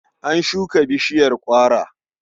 An shuka bishiyar ƙwara.